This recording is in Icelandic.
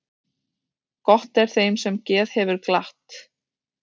Gott er þeim sem geð hefur glatt.